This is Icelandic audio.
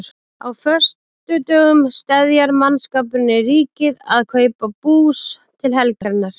Á föstudögum steðjar mannskapurinn í Ríkið að kaupa bús til helgarinnar.